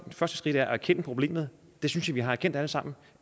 første skridt er at erkende problemet det synes jeg vi har erkendt alle sammen